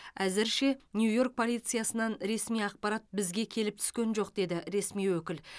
әзірше нью йорк полициясынан ресми ақпарат бізге келіп түскен жоқ деді ресми өкіл